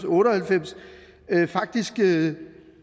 otte og halvfems faktisk det